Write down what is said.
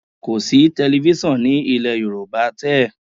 Kọ̀ sí tẹlifísàn ní ilẹ̀ Yorùbá tẹ́ẹ̀